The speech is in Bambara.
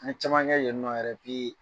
An' ye caman kɛ yeni nɔ yɛrɛ